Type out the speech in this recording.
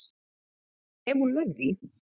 Ef hún nær því.